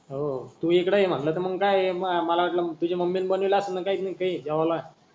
हो तु इकडे मनल त मंग काय मला वाटल तुझी मम्मीन बनवील असलन काही नाही काही जेवायला.